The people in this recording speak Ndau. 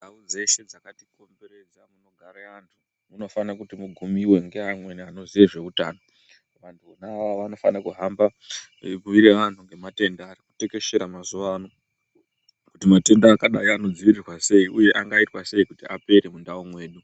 Ndau dzeshe dzakatikomberedza munogara anhu munofana kuti mugumiwe ngevamweni anoziya zveutano vanhu avo vanofana kuhamba ebhuira vanhu ngematenda ari kutekeshera mazuva ano kuti matenda akati angadzivirirwa sei uye kuti angaita sei kuti apere mundau mwedu.